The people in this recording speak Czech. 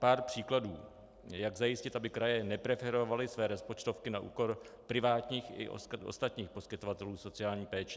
Pár příkladů: Jak zajistit, aby kraje nepreferovaly své rozpočtovky na úkor privátních i ostatních poskytovatelů sociální péče?